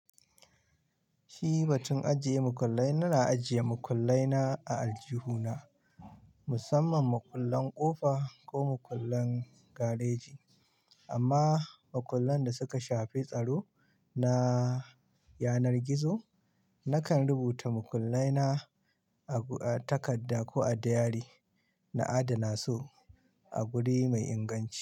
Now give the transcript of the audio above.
Shi batun ajiye makullai, na ajiye makullai na a aljihuna musamman makullan kofa ko makullan gareji amma makullan da suka shafi tsaro na yanar gizo, nakan rubuta makullai na a takarda ko a diary na adana su a wuri mai inganci.